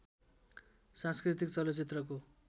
सांस्कृतिक चलचित्रको